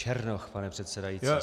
Černoch, pane předsedající.